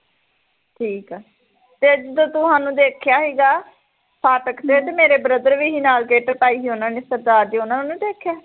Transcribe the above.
ਠੀਕ ਆ ਤੇ ਇੱਧਰ ਤੂੰ ਸਾਨੂੰ ਦੇਖਿਆ ਸੀਗਾ ਫਾਟਕ ਤੇ ਮੇਰੇ brother ਵੀ ਸੀ ਨਾਲ਼ kit ਪਾਈ ਸੀ ਉਹਨਾਂ ਨੇ ਸਰਦਾਰ ਜਹੇ ਉਹਨਾਂ ਨੂੰ ਨੀ ਦੇਖਿਆ